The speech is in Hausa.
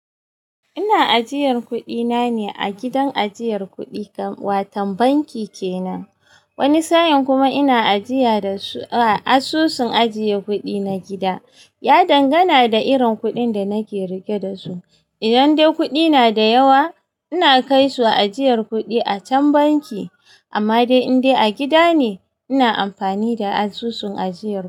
Ina ajiyar kuɗina ne a gidan ajiyar kuɗi kamar watan banki kenan. Wani sa'in kuma ina ajiya da su a asusun ajiye kuɗi na gida. Ya dangana da irin kuɗin da nake riƙe da su. Idan dai kuɗi na da yawa, ina kai su ajiyar kuɗi a can banki. Amma dai indai a gida ne, ina amfani da asusun ajiyar.